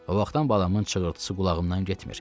O vaxtdan balamın çığırtısı qulağımdan getmir.